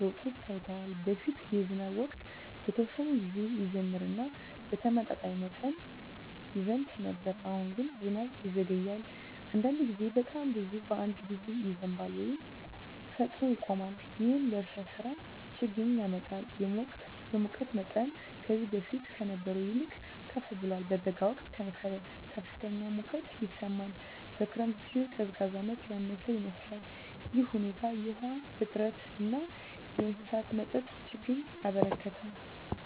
ለውጦች ታይተዋል። በፊት የዝናብ ወቅት በተወሰነ ጊዜ ይጀምር እና በተመጣጣኝ መጠን ይዘንብ ነበር። አሁን ግን ዝናብ ይዘገያል፣ አንዳንድ ጊዜም በጣም ብዙ በአንድ ጊዜ ይዘንባል ወይም ፈጥኖ ይቆማል። ይህም ለእርሻ ሥራ ችግኝ ያመጣል። የሙቀት መጠንም ከዚህ በፊት ከነበረው ይልቅ ከፍ ብሏል። በበጋ ወቅት ከፍተኛ ሙቀት ይሰማል፣ በክረምት ጊዜም ቀዝቃዛነት ያነሰ ይመስላል። ይህ ሁኔታ የውሃ እጥረትን እና የእንስሳት መጠጥ ችግኝን አበረከተ።